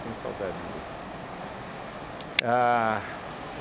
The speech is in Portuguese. Tenho saudades dele. A